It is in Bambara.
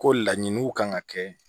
Ko laɲiniw kan ka kɛ